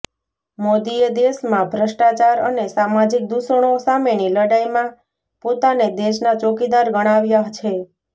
મોદીએ દેશમાં ભ્રષ્ટાચાર અને સામાજિક દૂષણો સામેની લડાઈમાં પોતાને દેશના ચોકીદાર ગણાવ્યા છે